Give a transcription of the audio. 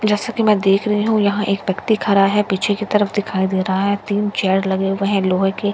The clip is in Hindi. जैसा कि मैं देख रही हूं यहां एक व्यक्ति खड़ा है पीछे की तरफ दिखाई दे रहा है तीन चेयर लगे हुए हैं लोहे के।